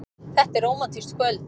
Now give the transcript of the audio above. Þetta er rómantískt kvöld.